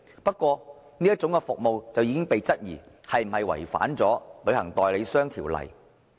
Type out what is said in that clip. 不過，這種服務已經被質疑是否違反《旅行代理商條例》。